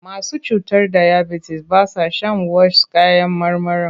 Masu cutar dayabitis ba sa shan wash kayan marmarin.